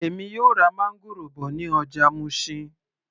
Èmi yóò ra máńgòrò bọ̀ ní ọjà Mushin